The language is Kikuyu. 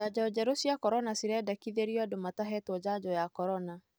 Janjo njerũ cia corona cirendekithĩrio andũ matahetwo janjo ya corona